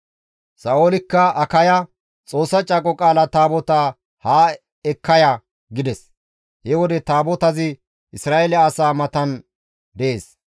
Sa7oolikka Akaya, «Xoossa Caaqo Qaala Taabotaa haa ekka ya» gides; he wode Taabotazi Isra7eele asaa matan dees.